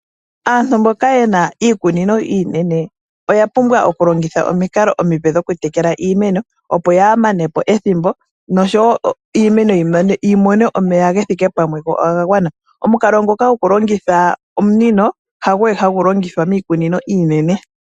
Aantu mboka ye na iikunino iinene oya pumbwa okulongitha omikalo omipe dhokutekela iimeno, opo yaa mane po ethimbo noshowo iimeno yi mone omeya ge thike pamwe go oga gwana. Omukalo ngoka gokulongitha omunino hago we hagu longithwa miikunino iinene.